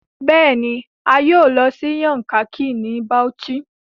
Bẹẹni, a yoo lọ si Yankari ni Bauchi